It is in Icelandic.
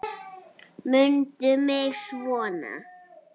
Mundu mig svona.